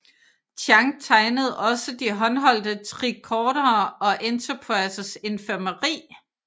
Chang tegnede også de håndholdte tricordere og Enterprises infirmeri